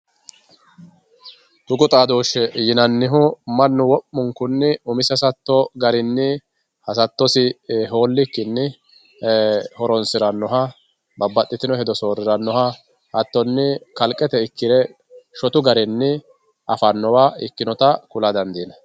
Tuqu xadoosheti yinannihu mannu wo'munkunni umisi hasatto garinni hasattosi ho'likkinni ee horonsiranoha babbaxxitino hedo sooriranoha hattoni kalqete ikke shottu garinni affanotta ikkinotta ku'la dandiinanni.